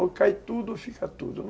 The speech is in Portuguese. Ou cai tudo ou fica tudo, né.